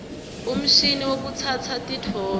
umshini wekutsatsa titfombe